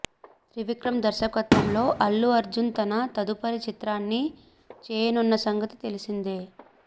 త్రివిక్రమ్ దర్శకత్వంలో అల్లు అర్జున్ తన తదుపరి చిత్రాన్ని చేయనున్న సంగతి తెలిసిందే